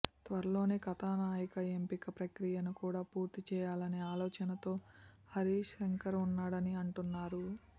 త్వరలోనే కథానాయిక ఎంపిక ప్రక్రియను కూడా పూర్తి చేయాలనే ఆలోచనతో హరీశ్ శంకర్ ఉన్నాడని అంటున్నారు